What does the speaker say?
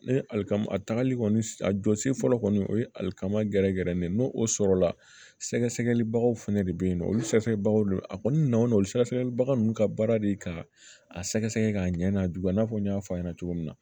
Ne ye alikama a tagali kɔni a jɔsi fɔlɔ kɔni o ye alikama gɛrɛ gɛrɛ ne ye n'o o sɔrɔla sɛgɛ sɛgɛli bagaw fɛnɛ de bɛ yen nɔ olu sɛgɛsɛgɛbagaw de a kɔni nana olu sɛgɛsɛgɛlibaga ninnu ka baara de ka a sɛgɛsɛgɛ k'a ɲɛ n'a juguya i n'a fɔ n y'a fɔ a ɲɛna cogo min na